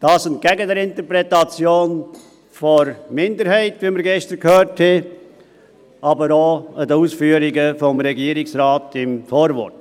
dies entgegen der Interpretation der Minderheit, wie wir gestern gehört haben, aber auch der Ausführungen des Regierungsrates im Vorwort.